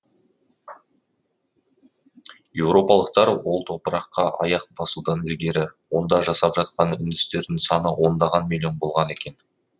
еуропалықтар ол топыраққа аяқ басудан ілгері онда жасап жатқан үндістердің саны ондаған миллион болған екен